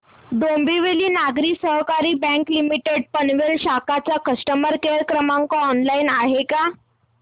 डोंबिवली नागरी सहकारी bank limited Panvel शाखा चा कस्टमर केअर क्रमांक ऑनलाइन आहे का